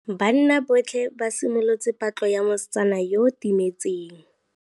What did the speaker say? Banna botlhê ba simolotse patlô ya mosetsana yo o timetseng.